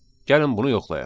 Gəlin bunu yoxlayaq.